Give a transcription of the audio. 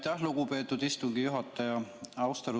Aitäh, lugupeetud istungi juhataja!